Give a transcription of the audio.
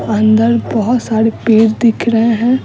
अंदर बहुत सारे पेड़ दिख रहे हैं।